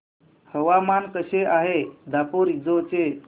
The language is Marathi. हवामान कसे आहे दापोरिजो चे